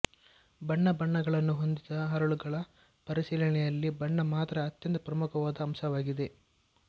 ಬಣ್ಣ ಬಣ್ಣಗಳನ್ನು ಹೊಂದಿದ ಹರಳುಗಳ ಪರಿಶೀಲನೆಯಲ್ಲಿ ಬಣ್ಣ ಮಾತ್ರ ಅತ್ಯಂತ ಪ್ರಮುಖವಾದ ಅಂಶವಾಗಿದೆ